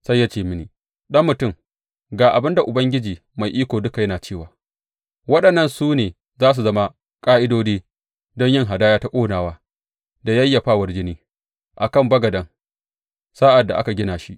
Sai ya ce mini, Ɗan mutum, ga abin da Ubangiji Mai Iko Duka yana cewa waɗannan su ne za su zama ƙa’idodi don yin hadaya ta ƙonawa da yayyafawar jini a kan bagaden sa’ad da aka gina shi.